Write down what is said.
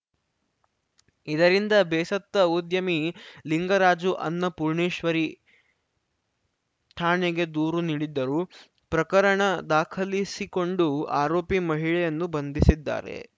ಇದರಿಂದ ಬೇಸತ್ತ ಉದ್ಯಮಿ ಲಿಂಗರಾಜು ಅನ್ನಪೂರ್ಣೇಶ್ವರಿ ಠಾಣೆಗೆ ದೂರು ನೀಡಿದ್ದರು ಪ್ರಕರಣ ದಾಖಲಿಸಿಕೊಂಡು ಆರೋಪಿ ಮಹಿಳೆಯನ್ನು ಬಂಧಿಸಿದ್ದಾರೆ